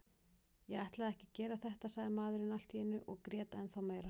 Ég ætlaði ekki að gera þetta, sagði maðurinn allt í einu og grét ennþá meira.